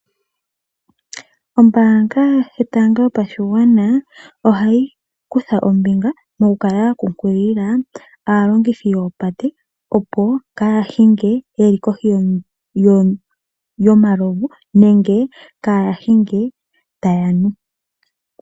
Ombanga yotango yopashigwana ohayi kutha ombinga moku kala ya kunkilila aalongithi yoopate opo kaya hinge yeli kohi yomalovu nenge kaa hinge taya nu.